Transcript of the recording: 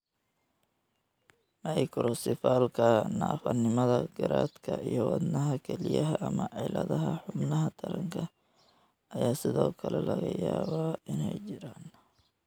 Microcephalyka, naafanimada garaadka, iyo wadnaha, kelyaha ama cilladaha xubnaha taranka ayaa sidoo kale laga yaabaa inay jiraan.